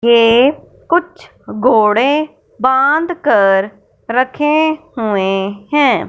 ये कुछ घोड़े बांध कर रखे हुए हैं।